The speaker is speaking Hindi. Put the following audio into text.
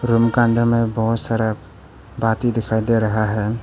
रूम का अंदर में बहुत सारा बाती दिखाई दे रहा है।